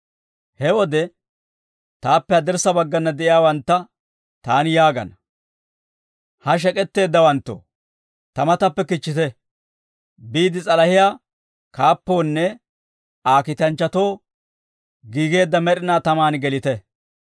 «He wode, taappe haddirssa baggana de'iyaawantta taani yaagana; ‹Ha shek'etteeddawanttoo, ta matappe kichchite; biide s'alahiyaa kaappoonne Aa kiitanchchatoo giigeedda med'inaa tamaan gelite.